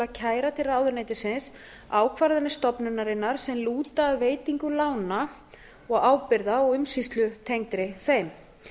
að kæra til ráðuneytisins ákvarðanir stofnunarinnar sem lúta að veitingu lána og ábyrgða og umsýslutengdri þeim